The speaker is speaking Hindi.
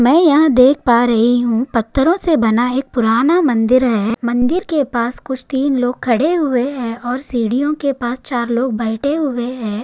मै यहाँ देख पा रही हूँ पत्थरों से बना एक पुराना मंदिर है मंदिर के पास कुछ तीन लोग खड़े हुए है और सिडीयों के पास चार लोग बैठे हुए है।